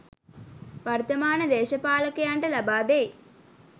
වර්තමාන දේශපාලකයන්ට ලබා දෙයි